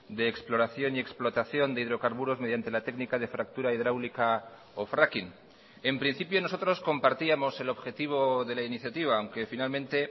de exploración y explotación de hidrocarburos mediante la técnica de fractura hidráulica o fracking en principio nosotros compartíamos el objetivo de la iniciativa aunque finalmente